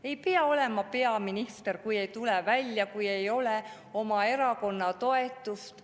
Ei pea olema peaminister, kui ei tule välja, kui ei ole oma erakonna toetust.